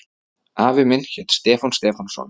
Afi minn hét Stefán Stefánsson.